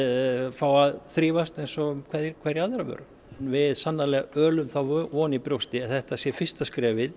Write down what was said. fá að þrífast eins og hverja aðra vöru við sannarlega ölum þá von í brjósti að þetta sé fyrsta skrefið